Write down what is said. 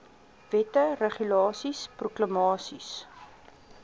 wette regulasies proklamasies